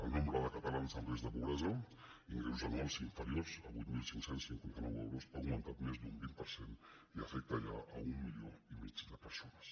el nombre de cata·lans en risc de pobresa ingressos anuals inferiors a vuit mil cinc cents i cinquanta nou euros ha augmentat més d’un vint per cent i afec·ta ja un milió i mig de persones